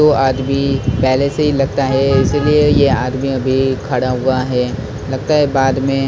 दो आदमी पहले से ही लगता है इसीलिए ये आदमी अभी खड़ा हुआ है लगता है बाद में--